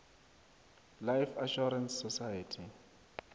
life assurance society